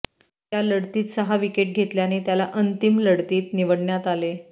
त्या लढतीत सहा विकेट घेतल्याने त्याला अंतिम लढतीत निवडण्यात आले